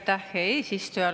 Aitäh, hea eesistuja!